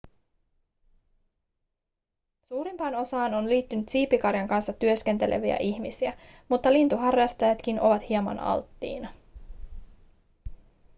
suurimpaan osaan on liittynyt siipikarjan kanssa työskenteleviä ihmisiä mutta lintuharrastajatkin ovat hieman alttiina